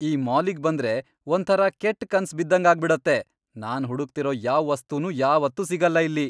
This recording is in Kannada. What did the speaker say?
ಈ ಮಾಲಿಗ್ ಬಂದ್ರೆ ಒಂಥರ ಕೆಟ್ ಕನ್ಸ್ ಬಿದ್ದಂಗಾಗ್ಬಿಡತ್ತೆ, ನಾನ್ ಹುಡುಕ್ತಿರೋ ಯಾವ್ ವಸ್ತುನೂ ಯಾವತ್ತೂ ಸಿಗಲ್ಲ ಇಲ್ಲಿ.